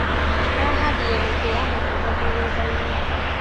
Arahandire mĩtĩ ya matunda mũgundainĩ.